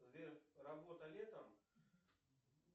сбер работа летом